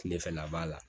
Kilefɛla b'a la